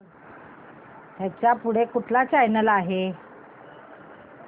ह्याच्या पुढे कोणता चॅनल आहे